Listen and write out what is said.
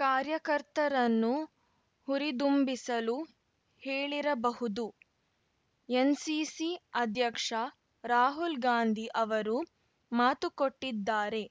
ಕಾರ್ಯಕರ್ತರನ್ನು ಹುರಿದುಂಬಿಸಲು ಹೇಳಿರಬಹುದು ಎನ್ ಸಿಸಿ ಅಧ್ಯಕ್ಷ ರಾಹುಲ್‌ಗಾಂಧಿ ಅವರು ಮಾತುಕೊಟ್ಟಿದ್ದಾರೆ